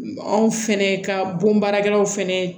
Anw fɛnɛ ka bon baarakɛlaw fɛnɛ